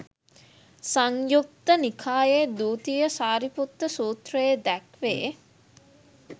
සංයුත්ත නිකායේ දුතිය සාරිපුත්ත සූත්‍රයේ දැක්වේ.